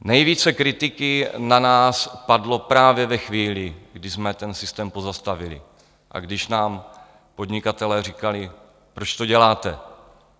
Nejvíce kritiky na nás padlo právě ve chvíli, kdy jsme ten systém pozastavili a když nám podnikatelé říkali: Proč to děláte?